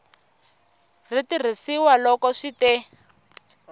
ri tirhisiwa loko swi te